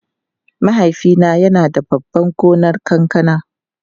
Mahaifina yana da babban gonar kankana.